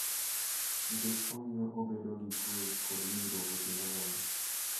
Nikech omiyo obedo gi kwe kod winjruok e kind oganda.